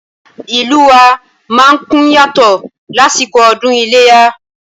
Ìlú wa má ń kún yàtọ̀ lásìkò ọdún iléyá